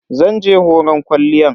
Zan je horon kwalliyan.